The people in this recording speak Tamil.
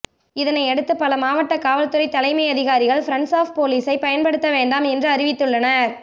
இதனை அடுத்து பல மாவட்ட காவல்துறை தலைமை அதிகாரிகள் பிரண்ட்ஸ் ஆப் போலீஸை பயன்படுத்த வேண்டாம் என்று அறிவித்துள்ளனர்